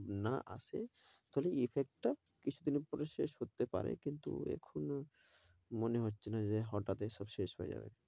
না আসে তাহলে effect টা কিছুদিনের পরে শেষ হতে পারে কিন্তু এখন মনে হচ্ছে না যে হঠাৎ এসব শেষ হয়ে যাবে।